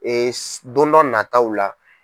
don dɔ nataw la.